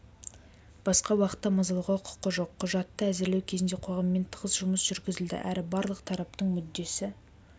басқа уақытта мазалауға құқы жоқ құжатты әзірлеу кезінде қоғаммен тығыз жұмыс жүргізілді әрі барлық тараптың мүддесі